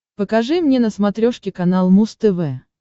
покажи мне на смотрешке канал муз тв